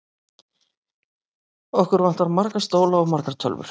Okkur vantar marga stóla og margar tölvur.